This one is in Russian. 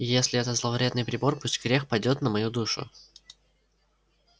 и если это зловредный прибор пусть грех падёт на мою душу